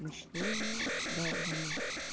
ну чтение долбанутый